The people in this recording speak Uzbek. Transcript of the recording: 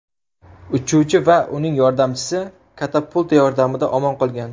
Uchuvchi va uning yordamchisi katapulta yordamida omon qolgan.